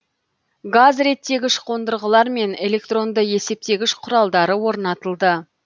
газ реттегіш қондырғылар мен электронды есептегіш құралдары орнатылды